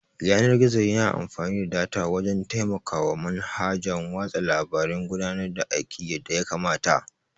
Yanar-gizo yana amfani da data wajan taimakawa manhajan watsa labare gudanar da aiki yadda yakamata